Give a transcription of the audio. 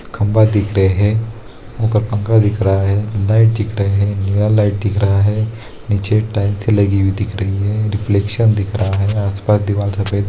खम्बा दिख रहे हैं ऊपर पंखा दिख रहा हैं लाइट दिख रही है नया लाइट दिख रहा है नीचे टाइल्स लगी हुई दिख रही है रिफ्लेक्शन दिख रहा है आस-पास दीवाल सफ़ेद --